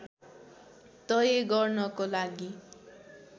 तय गर्नको लागि